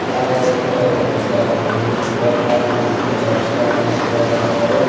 అలాగే ఇక్కడే ఒక పెద్ద బిల్డింగ్ కోట లాంటిది చర్చి లాంటిది కూడా కట్టారు.